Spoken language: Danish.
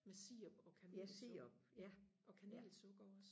med sirup og kanelsukker ja og kanelsukker også